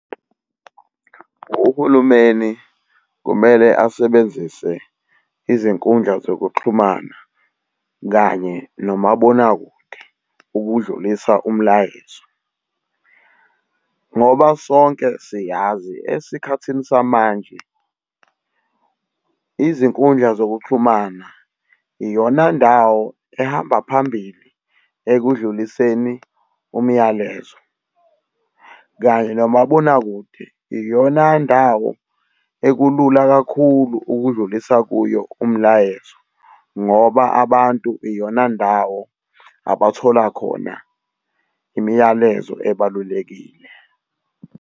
Uhulumeni kumele asebenzise izinkundla zokuxhumana kanye nomabonakude ukudlulisa umlayezo. Ngoba sonke siyazi esikhathini samanje izinkundla zokuxhumana iyona ndawo ehamba phambili ekudluliseni umyalezo, kanye nomabonakude iyona ndawo elula kakhulu ukudlulisa kuyo umlayezo ngoba abantu iyona ndawo abathola khona imiyalezo ebalulekile.